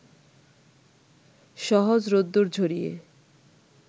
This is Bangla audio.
সহজ রোদ্দুর ঝরিয়ে